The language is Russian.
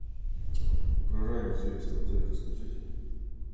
про ранний заезд в отель расскажите